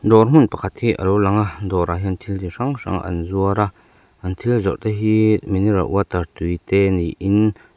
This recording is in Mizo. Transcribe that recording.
dawr hmun pakhat hi alo lang a dawrah hian thil ti hrang hrang an zuar a an thil zawrh te hi mineral water tui te niin--